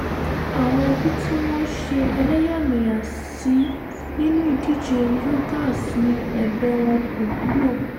àwọn ẹbí tí wọ́n ṣe ẹlẹ́yàmẹ̀yà sí nínú ìdíje yogacs ní ẹ̀bẹ̀ wọn kò wúlò